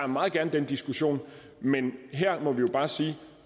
meget gerne den diskussion men ellers må vi jo bare sige